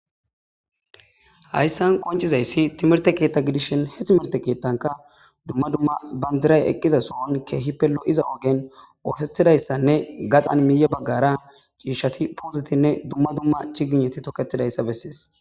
Hayssan qoncizayssi timirte keetta gidishin he timirte keettanka dumma dumma banjiray eqqiza sohon keehi pelo'iza ogen oosethidayssanne gaxan miiye baggara ciishati puuzitinne dumma dumma cigineti toketidayssa bessees.